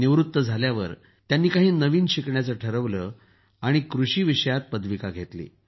निवृत्त झाल्यावर त्यांनी काही नवीन शिकण्याचं ठरवलं आणि कृषीमध्ये पदविका घेतली